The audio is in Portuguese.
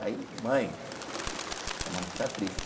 Aí, mãe, tem uma notícia triste.